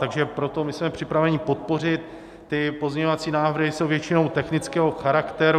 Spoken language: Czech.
Takže proto my jsme připraveni podpořit ty pozměňovací návrhy, jsou většinou technického charakteru.